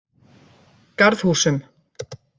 Garðhúsum